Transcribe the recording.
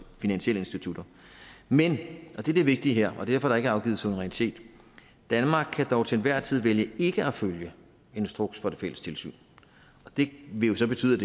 finansielle institutter men og det er det vigtige her og derfor at der ikke er afgivet suverænitet danmark kan dog til enhver tid vælge ikke at følge en instruks fra det fælles tilsyn og det vil jo så betyde